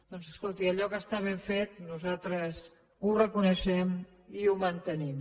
doncs escolti allò que està ben fet nosaltres ho reconeixem i ho mantenim